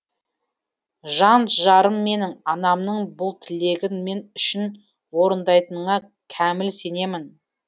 жан жарым менің анамның бұл тілегін мен үшін орындайтыныңа кәміл сенемін